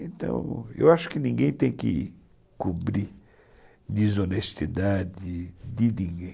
Então, eu acho que ninguém tem que cobrir desonestidade de ninguém.